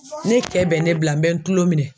Ne cɛ bɛ ne bila n bɛ n tulo minɛ.